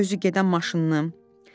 Çinarın özü gedən maşını.